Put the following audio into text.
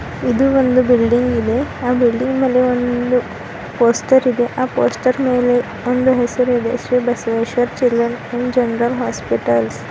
ಇದು ಒಂದು ಬಿಲ್ಡಿಂಗ್ ಇದೆ ಆ ಬಿಲ್ಡಿಂಗ್ ನಲ್ಲಿ ಒಂದು ಪೋಸ್ಟರ್ ಇದೆ ಆ ಪೋಸ್ಟರ್ ಮೇಲೆ ಒಂದು ಹೆಸರ್ ಇದೆಶ್ರೀ Basaveshwara children and general hospital .